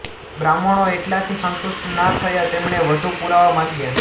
બ્રાહ્મણો એટલાથી સંતુષ્ટ ના થયાં તેમણે વધુ પુરાવા માંગ્યા